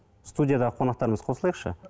студиядағы қонақтарымыз қосылайықшы